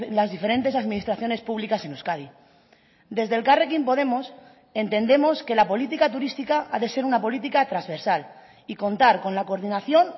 las diferentes administraciones públicas en euskadi desde elkarrekin podemos entendemos que la política turística ha de ser una política transversal y contar con la coordinación